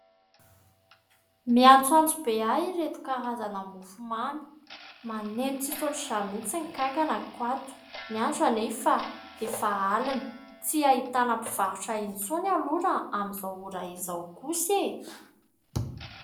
Miantsoantso be ahy ireto karazana mofomamy. Maneno tsy tsy misy ohatr'izany mihitsy ny kankanako ato. Ny andro anefa efa alina. Tsy ahitana mpivarotra intsony aloha raha amin'izao ora izao kosa e !